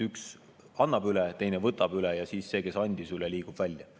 Üks annab üle, teine võtab üle ja siis see, kes andis üle, liigub välja.